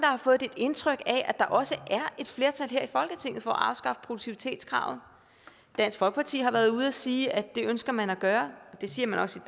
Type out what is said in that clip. har fået det indtryk at der også er et flertal her i folketinget for at afskaffe produktivitetskravet dansk folkeparti har været ude at sige at det ønsker man at gøre og det siger man også